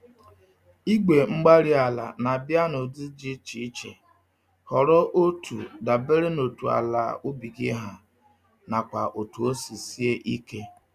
igwe-mgbárí-ala na-abịa n'ụdị dị iche iche; họrọ otu dabere na otú àlà ubi gị ha, nakwa otu osi sie ike